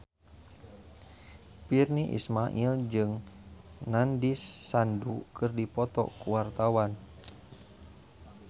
Virnie Ismail jeung Nandish Sandhu keur dipoto ku wartawan